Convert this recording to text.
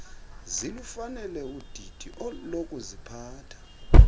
zilufanele udidi lokuziphatha